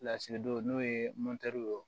Lasigidenw n'o ye ye